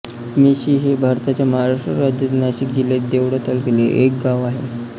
मेशी हे भारताच्या महाराष्ट्र राज्यातील नाशिक जिल्ह्यातील देवळा तालुक्यातील एक गाव आहे